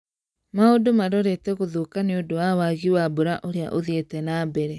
Maundũ marorete gũthũka nĩũndũ wa wagi wa mbura ũrĩa uthiĩte nambere